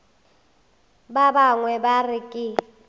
ba bangwe ba re ke